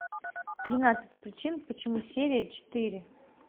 тринадцать причин почему серия четыре